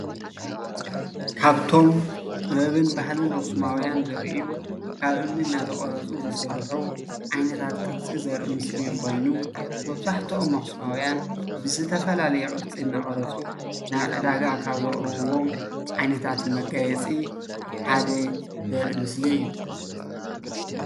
ካብቶም ጥበብን ባህልን ኣኽሱማዉያን ዘርኢእዩ ካብ እምኒ እናተቐረፁ ዝስርሑ ዓይነታት ቕርፂ ዘርኢ ምስሊ ኮይኑ መብዛሕትኦም ኣኽሱማዉያን ብዝተፈላለየ ቅርፂ እናቐረፁ ናብ ዕዳጋ ካብ ዘቕርብዎም ዓይነታት መጋየፂ ሓደ ዘርኢ ምስሊ እዩ።